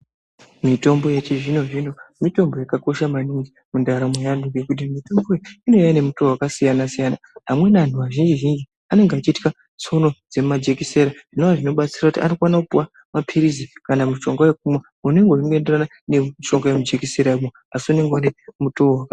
Mitombo yechizvino zvimo mitombo yakakosha maningi mundaramo yeantu ngekuti mitombo iyi inouya nemutowo wakasiyana siyana. Amweni anhu azhinji zhinji anonga achitya tsono yemajekisera zvinova zvichibatsira kuti arikupuwa mapirizi kana mushonga wekumwa unenge weienderana nemushonga wemujekisera asi unenge une mutowo wakasiyana.